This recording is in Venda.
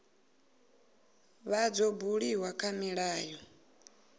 vha dzo buliwa kha milayo